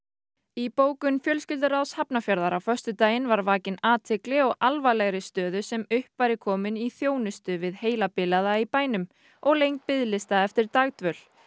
í bókun fjölskylduráðs Hafnarfjarðar á föstudaginn var vakin athygli á alvarlegri stöðu sem upp væri komin í þjónustu við heilabilaða í bænum og lengd biðlista eftir dagdvöl